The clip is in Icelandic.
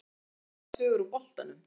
Skemmtilegar sögur úr boltanum?